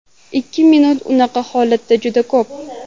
Ikki minut unaqa holatda juda ko‘p.